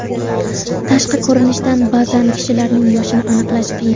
Tashqi ko‘rinishdan ba’zan kishilarning yoshini aniqlash qiyin.